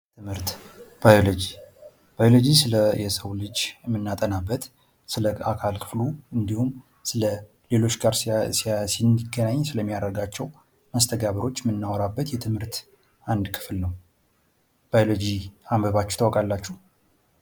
ባዮሎጂ ስለሰው ልጅ የምናጠናበት ስለ አካል ክፍሉ እንዲሁም ሌሎች ጋር ሲገናኝ ስለሚያደርጋቸው መስተጋብሮች የምናወራበት የትምህርት አንድ ክፍል ነው። ባዮሎጂ አንብባችሁ ታውቃላችሁ?